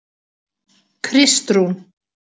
Kristrún